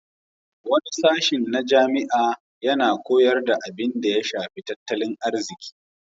Wani sashin na jami'a yana koyar da abinda ya shafi tattalin arziki.